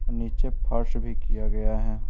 नीचे फर्स भी किया गया है।